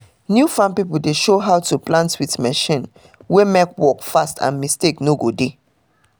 new farm pipo dey show how to plant with machine wey mek work fast and mistake no go dey